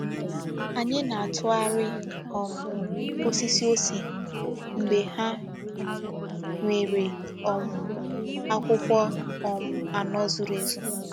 Ányị na-atụgharị um osisi òsè mgbe ha nwere um akwụkwọ um anọ zuru ezu.